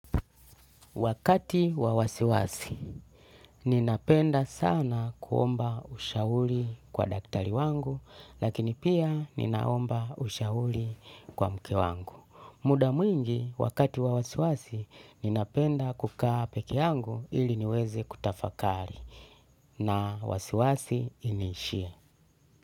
Wakati wa wasiwasi, ninapenda sana kuomba ushauri kwa daktari wangu, lakini pia ninaomba ushauri kwa mke wangu. Muda mwingi, wakati wa wasiwasi, ninapenda kukaa peke yangu ili niweze kutafakari na wasiwasi iniishie.